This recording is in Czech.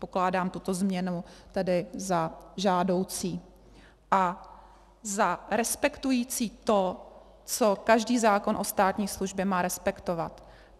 Pokládám tuto změnu tedy za žádoucí a za respektující to, co každý zákon o státní službě má respektovat.